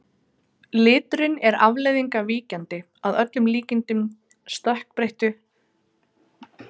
Liturinn er afleiðing af víkjandi, að öllum líkindum stökkbreyttu, geni sem þessi dýr bera.